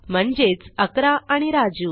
म्हणजेच 11 आणि राजू